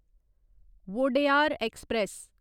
Wodeyar express